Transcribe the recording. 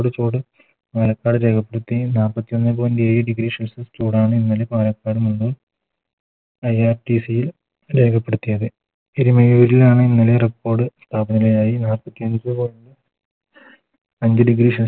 ചൂട് പാലക്കാട് നാപ്പത്തി ഒന്നേ Point ഏഴ് Degree celsius ചൂടാണ് ഇന്നലെ പാലക്കാട് നിന്ന് IRTC ൽ രേഖപ്പെടുത്തിയത് എരുമേലിയിലാണ് ഇന്നലെ Record താപനിലയായി നാപ്പത്തി അഞ്ച് Point ചൂട്